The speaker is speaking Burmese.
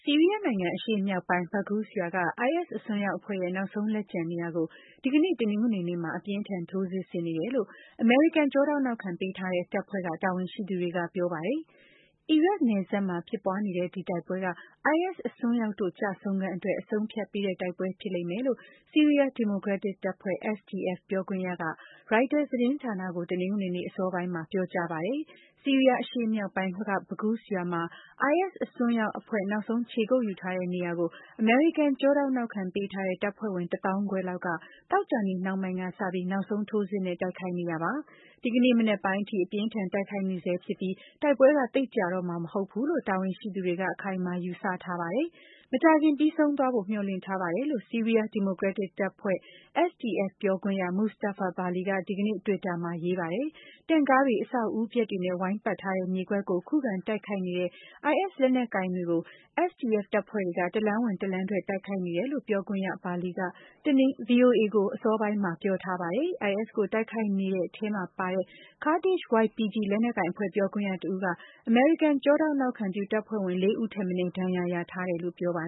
ီးရီးယားနိုင်ငံ၊ အရှေ့မြောက်ပိုင်း Baghuz ရွာက IS အစွန်းရောက်အဖွဲ့ရဲ့ နောက်ဆုံးလက်ကျန်နေရာကို ဒီကနေ့ တနင်္ဂနွေနေ့မှာ အပြင်းအထန် ထိုးစစ်ဆင်နေတယ်လို့ အမေရိကန် ကျောထောက်နောက်ခံပေးထားတဲ့ တပ်ဖွဲ့တွေက တာဝန်ရှိသူတွေက ပြောပါတယ်။ အီရတ် နယ်စပ်မှာ ဖြစ်ပွားနေတဲ့ ဒီတိုက်ပွဲက IS အစွန်းရောက်တို့ ကျဆုံးခန်းအတွက် အဆုံးအဖြတ်ပေးတဲ့ တိုက်ပွဲဖြစ်လိမ့်မယ်လို့ ဆီးရီးယား ဒီမိုကရက်တစ် တပ်ဖွဲ့ SDF ပြောခွင့်ရက Reuters သတင်းဌာနကို တနင်္ဂနွေနေ့ အစောပိုင်းမှာ ပြောကြားပါတယ်။ ဆီးရီးယား အရှေ့မြောက်ပိုင်း က Baghuz ရွာမှာ IS အစွန်းရောက်အဖွဲ့နောက်ဆုံးေ ခြေကုတ်ယူထားတဲ့ နေရာကို အမေရိကန် ကျောထောက်နောက်ခံ ပေးထားတဲ့ တပ်ဖွဲ့ဝင် ၁ သောင်းခွဲလောက်က သောကြာနေ့နှောင်းပိုင်းကစပြီး နောက်ဆုံးထိုးစစ်နဲ့ တိုက်ခိုက် နေတာပါ။ ဒီကနေ့ မနက်ပိုင်းအထိ အပြင်းအထန် တိုက်ခိုက်နေဆဲဖြစ်ပြီး တိုက်ပွဲက သိပ်ကြာတော့မှာ မဟုတ်ဘူးလို့ တာဝန်ရှိသူတွေက အခိုင်အမာ ယူဆထားပါတယ်။ “မကြာခင် ပြီးဆုံးသွားဖို့ မျှော်လင့်ထားပါတယ်” လို့ ဆီးရီးယား ဒီမိုကရက်တစ်တပ်ဖွဲ့ SDF ပြောခွင့်ရ Mustafa Bali က ဒီကနေ့ Twitter မှာရေးပါတယ်။ တင့်ကားတွေ၊ အဆောက်အဦးပျက်တွေနဲ့ ဝိုင်းပတ်ထားတဲ့ မြေကွက်လေးကို ခုခံတိုက်ခိုက်နေတဲ့ IS လက်နက်ကိုင်တွေကို SDF တပ်ဖွဲ့တွေက တလမ်းဝင်တလမ်းထွက် တိုက်ခိုက်နေတယ်လို့ ပြောခွင့်ရ Bali က ဗွီအိုအေကို အစောပိုင်းမှာပြောထားပါတယ်။ IS ကိုတိုက်ခိုက်နေတဲ့ထဲမှာပါတဲ့ ကားဒစ်ရှ် YPG လက်နက်ကိုင်အဖွဲ့ ပြောခွင့်ရတဦးက အမေရိကန်ကျောထောက်နောက်ခံပြု တပ်ဖွဲ့ဝင် လေးဦးထက်မနည်း ဒဏ်ရာရ ထားတယ်လို့ ပြောပါ